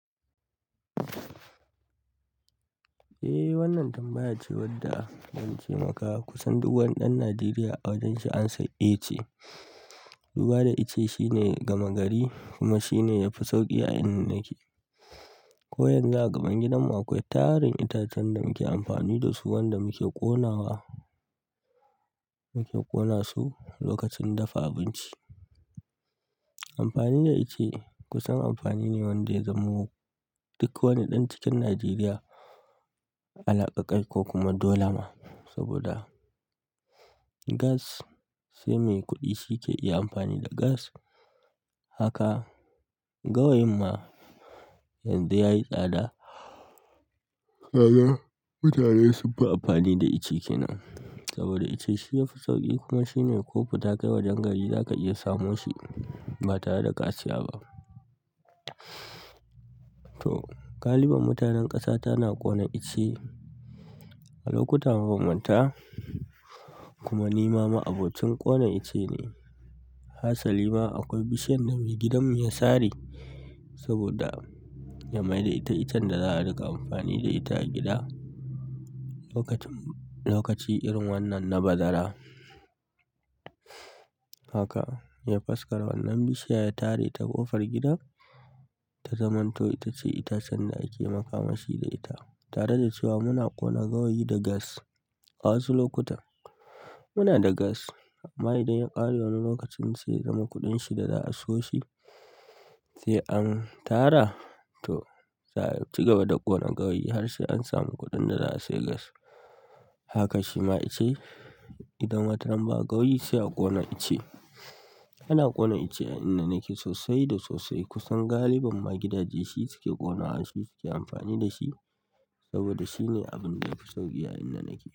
Ehh wannan tambaya ce zance maka wanda kusan yan Nigeria amsan ɗaya ce duba da ice shine gama gari kuma shine yafi sauƙi a inda nake. Ko yanzu a gaban gidanmu akwai tarin itacen da muke amfani da su wanda muke ƙonawa, muke ƙona su lokacin dafa abinci. Amfani da ice kusan amfani ne wanda ya zamo duk wani ɗan cikin Najeriya alaƙa kai ko kuma dole ma. Saboda gas sai mai kuɗi shi ke iya amfani da gas. Haka, gawayin ma yanzu yayi tsada. Tsada, mutane sun fi amfani da ice kina. Saboda ice shi yafi sauƙi kuma shine ko fi takai wajen gari za ka iya samun shi ba tare da kasiya ba. To, galibin mutanen ƙasa tana ƙona ice a lokuta mafamanta. Kuma nima ma abocin ƙona ice ne. Hassali ma akwai bishiyar da maigidan mu ya sare saboda ya maida ita itacen da za a riƙa amfani da ita a gida lokacin, lokaci irin wannan na bazara. Haka, ya faskara wannan bishiya ya tare ta ƙofar gidan ta zamanto ita ce itacen da ake makamashi da ita. Tare da cewa muna ƙona gawayi da gas. A wasu lokuta muna da gas amma idan ya ƙare wani lokacin sai zama kuɗin shi da za a siyo shi sai an tara. To, za a ci gaba da ƙona gawayi har sai an samu kuɗin da za a sayi gas. Haka shi ma ice idan watan ba gawayi sai a ƙona ice. Ana ƙona ice a inda nake sosai da sosai kusan galibin maigidaje shi suke ƙona wa shi suke amfani da shi saboda shine abin da yafi sauƙi a inda nake.